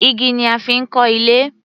Igi ni a fi ń kan ilé.